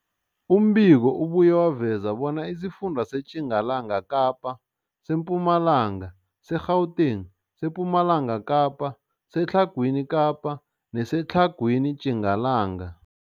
Umbiko ubuye waveza bona isifunda seTjingalanga Kapa, seMpumalanga, seGauteng, sePumalanga Kapa, seTlhagwini Kapa neseTlhagwini Tjingalanga.